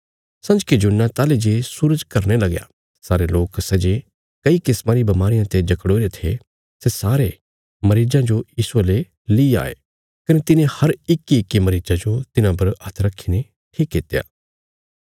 संजके जुन्ना ताहली जे सूरज घरने लग्या सारे लोक सै जे कई किस्मा री बमारियां ते जकड़ोईरे थे सै सारे मरीजां जो यीशुये ले ली आये कने तिने हर इक्कीइक्की मरीजा जो तिन्हां पर हत्थ रखीने ठीक कित्या